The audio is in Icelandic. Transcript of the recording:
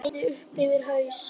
Breiði upp yfir haus.